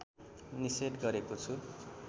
निषेध गरेको छु